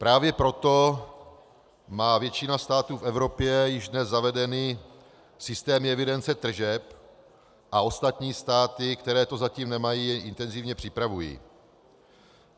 Právě proto má většina států v Evropě již dnes zavedeny systémy evidence tržeb a ostatní státy, které to zatím nemají, je intenzivně připravují.